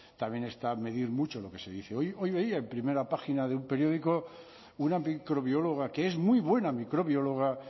también está medir mucho lo que se dice hoy hoy veía en primera página de un periódico una microbióloga que es muy buena microbióloga